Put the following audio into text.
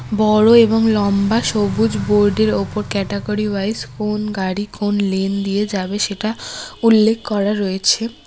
বড় এবং লম্বা সবুজ বোর্ড -এর ওপর ক্যাটাগরি ওয়াইস কোন গাড়ি কোন লেন দিয়ে যাবে সেটা উল্লেখ করা রয়েছে।